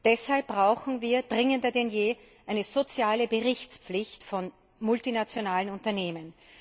Deshalb brauchen wir dringender denn je eine soziale Berichtspflicht von multinationalen Unternehmen.